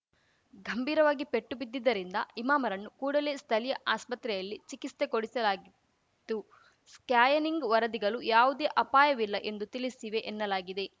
ಘಂಭೀರವಾಗಿ ಪೆಟ್ಟು ಬಿದ್ದಿದ್ದರಿಂದ ಇಮಾಮ್‌ರನ್ನು ಕೂಡಲೇ ಸ್ಥಲೀಯ ಆಸ್ಪತ್ರೆಯಲ್ಲಿ ಚಿಕಿಸ್ತೆ ಕೊಡಿಸಲಾಗಿದ್ದು ಸ್ಕ್ಯಾನಿಂಗ್‌ ವರದಿಗಳು ಯಾವುದೇ ಅಪಾಯವಿಲ್ಲ ಎಂದು ತಿಳಿಸಿವೆ ಎನ್ನಲಾಗಿದೆ